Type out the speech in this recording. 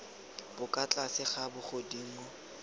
bo kwa tlase ga bogodimo